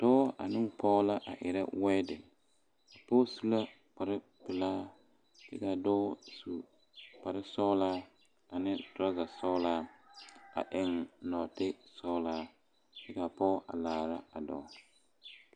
Dɔɔ ane o pɔge la erɛ weede a pɔge su la kpare pelaa kaa dɔɔ su kpare sɔglaa ane torazaa sɔglaa a eŋ noɔte sɔglaa kaa pɔge laare a dɔɔ.